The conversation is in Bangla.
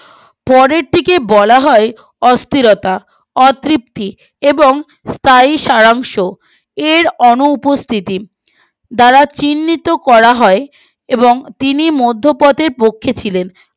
পরের দিকে বলা হয় অস্থিরতা অতৃপ্তি এবং স্থায়ী সারাংশ এর অনুপস্থিতি দ্বারা চিহ্নিত করা হয় এবং তিনি মধ্য পথের পক্ষে ছিলেন